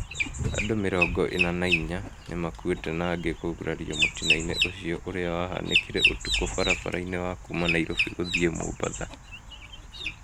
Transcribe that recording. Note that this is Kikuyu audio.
Andũ mĩrongo ina na inya nĩmakuĩte na angĩ kũgurario mũtino-inĩ ũcio ũrĩa wahanĩkire ũtukũ barabara-inĩ ya kuma Nairobi gũthii mombatha